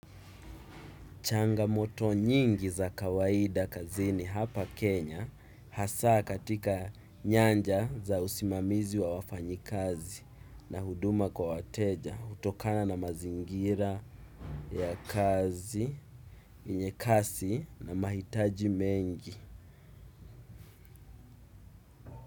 Changamoto nyingi za kawaida kazini hapa Kenya hasa katika nyanja za usimamizi wa wafanyikazi na huduma kwa wateja hutokana na mazingira ya kazi, yenye kasi na mahitaji mengi.